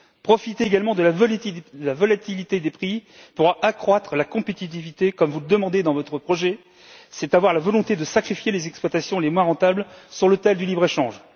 Profiter également de la volatilité des prix pour accroître la compétitivité, comme vous le demandez dans votre projet, c'est avoir la volonté de sacrifier les exploitations les moins rentables sur l'autel du libre échange.